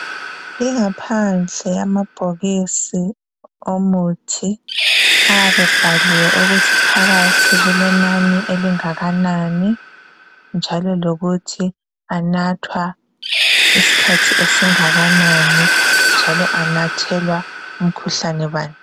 Ingaphansi yamabhokisi omuthi ayabe ebhaliwe ukuthi phakathi kulenani elingakanani njalo lokuthi anathwa isikhathi esingakanani. Njalo anathelwa umkhuhlane bani.